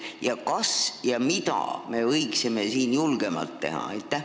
Ja kas ja mida me võiksime siin julgemalt teha?